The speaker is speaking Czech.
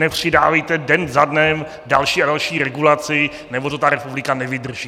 Nepřidávejte den za dnem další a další regulaci, nebo to ta republika nevydrží!